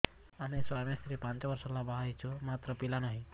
ଆମେ ସ୍ୱାମୀ ସ୍ତ୍ରୀ ପାଞ୍ଚ ବର୍ଷ ହେଲା ବାହା ହେଇଛୁ ମାତ୍ର ପିଲା ନାହିଁ